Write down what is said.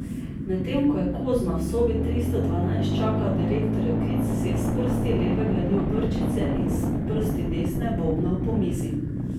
Medtem ko je Kozma v sobi tristo dvanajst čakal direktorjev klic, si je s prsti leve gladil brčice in s prsti desne bobnal po mizi.